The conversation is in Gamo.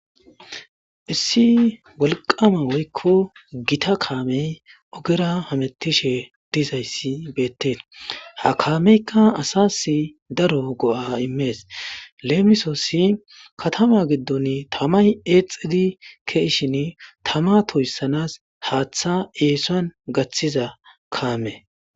Issi wolqama woykon gita kaamey ogera hamutishe dizaysi beetes. Ha kameyka asasi daro go'a immes. Lemisosi katama gidoni tamay exidi ke'ishin tama toysanas haatha eeson gathiza kame.